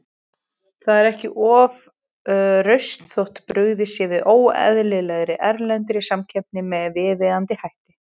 Það er ekki ofrausn þótt brugðist sé við óeðlilegri, erlendri samkeppni með viðeigandi hætti.